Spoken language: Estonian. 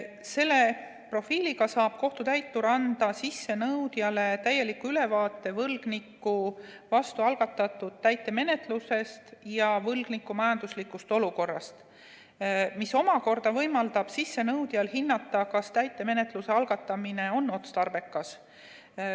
Selle profiiliga saab kohtutäitur anda sissenõudjale täieliku ülevaate võlgniku vastu algatatud täitemenetlusest ja võlgniku majanduslikust olukorrast, mis omakorda võimaldab sissenõudjal hinnata, kas täitemenetluse algatamine on otstarbekas.